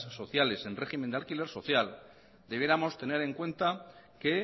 sociales en régimen de alquiler social debiéramos tener en cuenta que